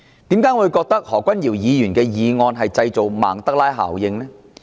為何我會覺得何君堯議員的議案製造曼德拉效應呢？